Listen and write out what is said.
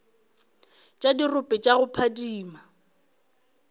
tša dirope tša go phadima